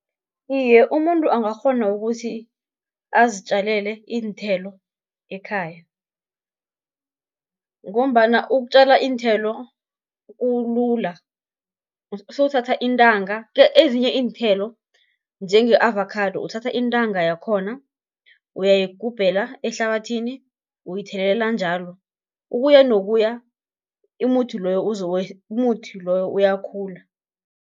Iye umuntu angakghona ukuthi azitjalele iinthelo ekhaya, ngombana ukutjala iinthelo kulula, sewuthatha intanga, ezinye iinthelo njenge avakhado uthatha intanga yakhona, uyayigubhela ehlabathini uyithelelela njalo, ukuya nokuya umuthi loyo uyakhula.